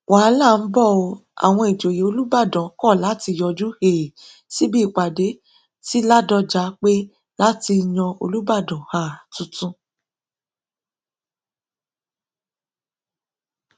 wàhálà ń bọ ọ àwọn ìjòyè olùbàdàn kọ láti yọjú um síbi ìpàdé ti ládọjà pé láti yan olùbàdàn um tuntun